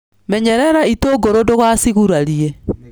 Menyerera itũngũrũ ndugacigurarie.